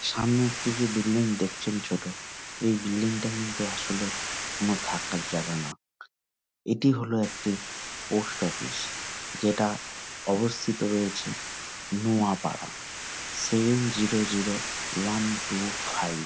সামনে একটি যে বিল্ডিং দেখছেন ছোট এই বিল্ডিং -টা কিন্তু আসলে কোনো থাকার জায়গা না এটি হলো একটি পোস্ট অফিস যেটা অবস্থিত রয়েছে Noapara seven zero zero one two five.